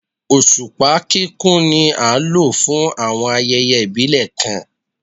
Oṣupa kikun ni a lo fun awọn ayẹyẹ ibile kan